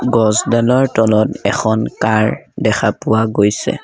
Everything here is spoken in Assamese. গছডালৰ তলত এখন কাৰ দেখা পোৱা গৈছে।